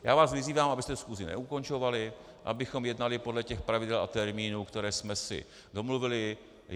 Já vás vyzývám, abyste schůzi neukončovali, abychom jednali podle těch pravidel a termínů, které jsme si domluvili.